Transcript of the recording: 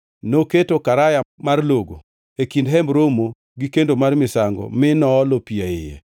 Noketo karaya mar logo e kind Hemb Romo gi kendo mar misango mi noolo pi e iye.